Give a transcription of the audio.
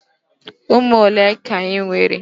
Ụmụ ole ka ị nwere?